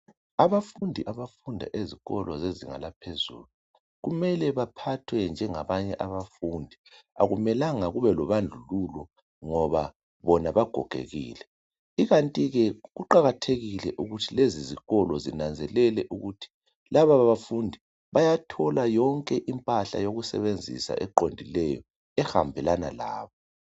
Abafundi abafunda ezikolo zezinga laphezulu kumele baphathwe njengabanye abafundi akumelanga kube lo bandlululo ngoba bona bagogekile kukanti ke kuqakathekile ukuthi lezi zikolo zinanzelele ukuthi laba bafundi bayathola yonke impahla yokusebenzisa eqondileyo ehambelana labo.